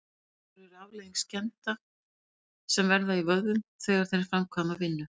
Harðsperrur eru afleiðing skemmda sem verða í vöðvum þegar þeir framkvæma vinnu.